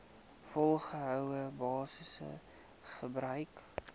volgehoue basis gebruik